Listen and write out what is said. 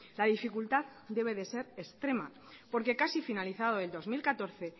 la dificultad debe de ser extrema porque casi finalizado el dos mil catorce